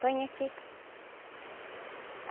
Põe aqui.